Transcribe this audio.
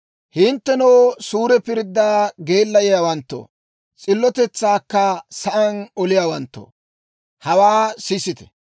Hinttenoo, suure pirddaa geellayeeddawanttoo, s'illotetsaakka sa'aan oliyaawanttoo, hawaa sisite.